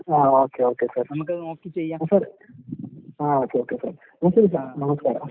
ആഹ് okay okay sir. Ah sir ah okay okay sir. നമസ്ക്കാരം.